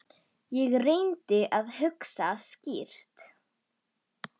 Ég reyndi að hugsa skýrt.